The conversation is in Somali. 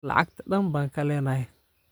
Lacagta dhan ba kalenax.